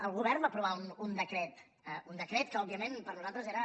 el govern va aprovar un decret un decret que òbviament per nosaltres era